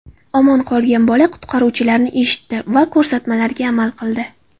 Omon qolgan bola qutqaruvchilarni eshitdi va ko‘rsatmalariga amal qildi.